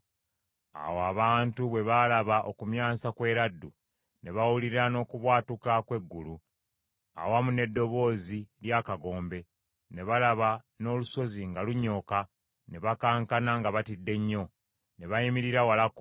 Awo abantu bwe baalaba okumyansa kw’eraddu, ne bawulira n’okubwatuka kw’eggulu awamu n’eddoboozi ly’akagombe, ne balaba n’olusozi nga lunyooka ne bakankana nga batidde nnyo. Ne bayimirira walako,